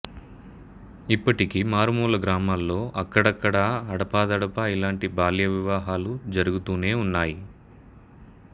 ఇప్పటికీ మారుమూల గ్రామాల్లో అక్కడక్కడా అడపాదడపా ఇలాంటి బాల్య వివాహాలు జరుగుతూనే ఉన్నాయి